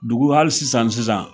Dugu hali sisan sisan